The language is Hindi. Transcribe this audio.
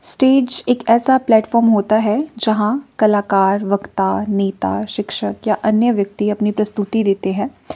स्टेज एक ऐसा प्लेटफॉर्म होता है जहां कलाकार वक्ता नेता शिक्षक या अन्य व्यक्ति अपनी प्रस्तुति देते हैं।